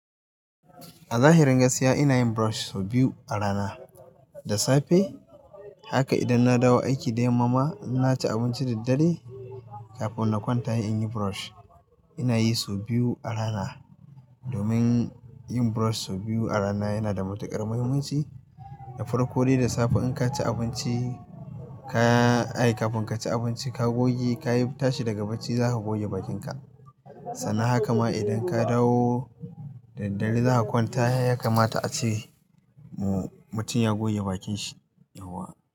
A zahirin gaskiya ina yin brush sau biyu a rana. Da safe haka idan na dawo aiki da yamma ma, in na ci abinci da daddare, kafin na kwanta in yi brush. Ina yi sau biyu a rana domin yin brush sau biyu a rana yana da matuƙar muhimmanci. Da farko dai da safe in ka ci abinci, ka yi kafin ka ci abinci ka goge, ka yi tashi daga bacci za ka goge bakinka. Sannan haka ma idan ka dawo da daddare za ka kwanta ya kamata a ce mu-mutum ya goge bakin shi. Yauwa.